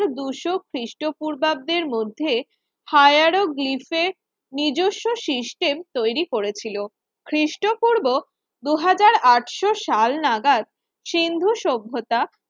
দুশো খ্রিস্টপূর্বাব্দের মধ্যে হায়ারোগ্লিফের নিজস্ব সিস্টেম তৈরি করেছিল খ্রিস্টপূর্ব দুই হাজার আটশো সাল নাগাদ সিন্ধু সভ্যতা